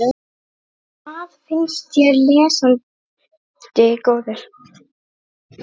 Hvað finnst þér, lesandi góður?